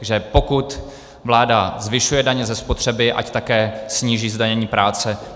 Že pokud vláda zvyšuje daně ze spotřeby, ať také sníží zdanění práce.